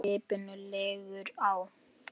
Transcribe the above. Skipinu liggur á.